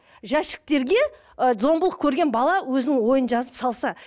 жәшіктерге ы зомбылық көрген бала өзінің ойын жазып салса